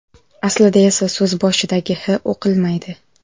Aslida esa so‘z boshidagi H o‘qilmaydi.